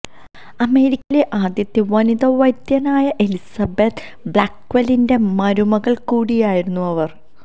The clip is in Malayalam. അമേരിക്കയിലെ ആദ്യത്തെ വനിതാ വൈദ്യനായ എലിസബത്ത് ബ്ലാക്ക്വെല്ലിന്റെ മരുമകൾ കൂടിയായിരുന്നു അവർ